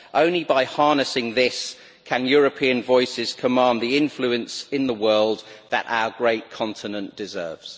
Only by harnessing this can European voices command the influence in the world that our great continent deserves.